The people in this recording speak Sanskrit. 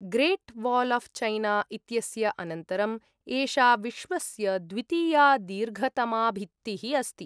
ग्रेट् वाल् आफ् चैना इत्यस्य अनन्तरम्, एषा विश्वस्य द्वितीया दीर्घतमा भित्तिः अस्ति।